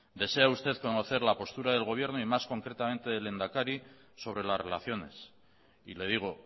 desea usted conocer la postura del gobierno y más concretamente del lehendakari sobre las relaciones y le digo